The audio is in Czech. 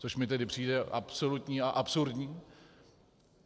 Což mi tedy přijde absolutní a absurdní.